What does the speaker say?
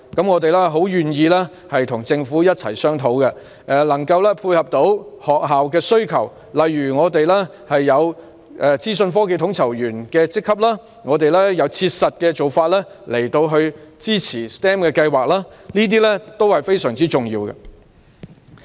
我們非常樂意與政府商討，以配合學校的需求，例如我們有資訊科技統籌員的職級，也有切實的做法支持 STEM 計劃，這些都是非常重要的。